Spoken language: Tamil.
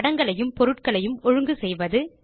படங்களையும் பொருட்களையும் ஒழுங்கு செய்வது